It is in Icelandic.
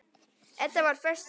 Edda var föst fyrir.